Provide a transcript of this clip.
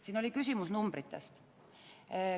Siin oli küsimus numbritest.